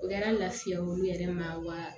O kɛra lafiya olu yɛrɛ ma wa